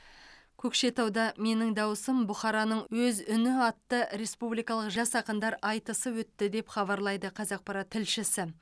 көкшетауда менің дауысым бұхараның өз үні атты республикалық жас ақындар айтысы өтті деп хабарлайды қазақпарат тілшісі